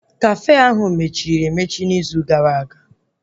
Kafe ahụ mechiri emechi n'izu gara aga